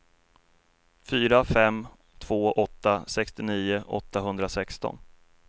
fyra fem två åtta sextionio åttahundrasexton